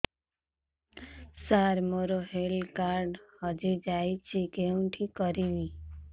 ସାର ମୋର health card ହଜି ଯାଇଛି କେଉଁଠି କରିବି